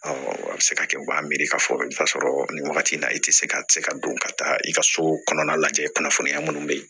a bɛ se ka kɛ u b'a miiri k'a fɔ i bɛ t'a sɔrɔ nin wagati in na i tɛ se ka se ka don ka taa i ka so kɔnɔna lajɛ kunnafoniya minnu bɛ yen